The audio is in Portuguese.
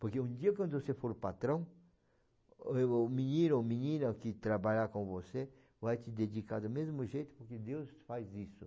Porque um dia quando você for patrão, o menino ou menina que trabalhar com você vai te dedicar do mesmo jeito, porque Deus faz isso.